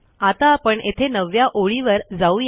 आता आपण येथे 9 व्या ओळीवर जाऊ या